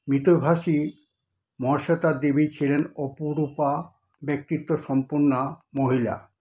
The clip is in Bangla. মিতভাষী মহাশ্বেতা দেবী ছিলেন অপরূপা ব্যক্তিত্ব সম্পন্না মহিলা।